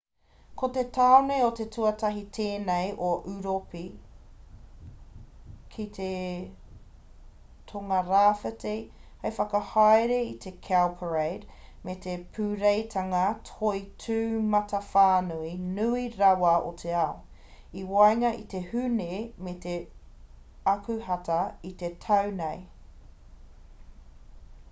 ko te tāone te tuatahi tēnei o europi ki te tongarāwhiti hei whakahaere i te cowparade me te pūreitanga toi tūmatawhānui nui rawa o te ao i waenga i te hūne me te akuhata i te tau nei